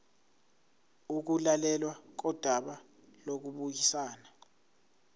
ukulalelwa kodaba lokubuyisana